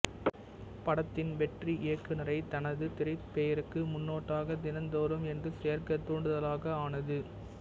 படத்தின் வெற்றி இயக்குனரை தனது திரைப் பெயருக்கு முன்னொட்டாக தினந்தோறும் என்று சேர்க்க தூண்டுதலாக ஆனது